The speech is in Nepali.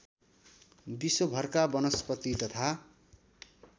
विश्वभरका वनस्पति तथा